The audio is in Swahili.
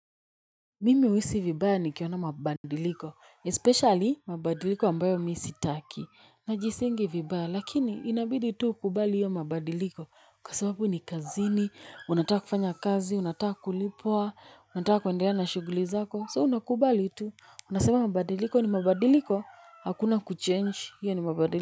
Mimi huisi vibaya nikiona mabadiliko, "especially" mabadiliko ambayo mimi sitaki, najihisingi vibaya, lakini inabidi tu ukubali hiyo mabadiliko, kwa sababu ni kazini, unataka kufanya kazi, unataka kulipwa, unataka kuendelea na shughuli zako, "so" unakubali tu, unasema mabadiliko ni mabadiliko, hakuna "kuchange", hiyo ni mabadiliko.